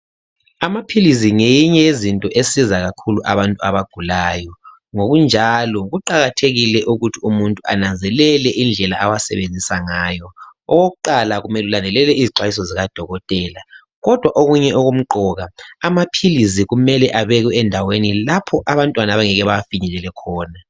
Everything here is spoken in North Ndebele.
Amaphilizi ngeyinye yezinto esiza kakhulu abantu abagulayo, ngokunjalo kuqakathekile ukuthi umuntu ananzelele indlela awasebenzisa ngayo. Okokuqala kumele ulandelele izixwayiso zikadokotela. Kodwa okunye okumqoka amaphilisi kumele abekwe endaweni lapho abantwana abangeke bewafinyelele khona.